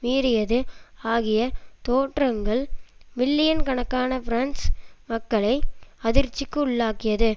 மீறியது ஆகிய தோற்றங்கள் மில்லியன் கணக்கான பிரெஞ்சு மக்களை அதிர்ச்சிக்கு உள்ளாக்கியது